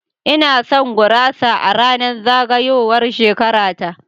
Ina son gurasa a ranar zagayowar shekara ta.